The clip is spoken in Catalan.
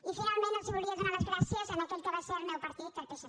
i finalment volia donar les gràcies a aquell que va ser el meu partit al psc